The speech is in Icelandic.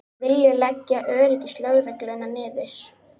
Vilja leggja öryggislögregluna niður